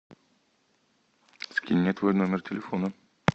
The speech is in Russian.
скинь мне твой номер телефона